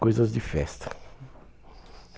Coisas de festa.